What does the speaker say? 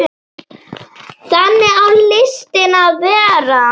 Þannig á listin að vera.